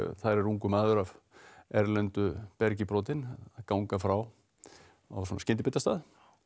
þar er ungur maður af erlendu bergi brotinn að ganga frá á svona skyndibitastað